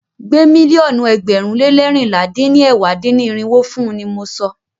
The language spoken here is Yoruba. Gbé mílíọ̀nù ẹgbẹ̀rún lé leérinlá dín ní ẹ̀wá dín-ní-irinwó fún ni mọ sọ!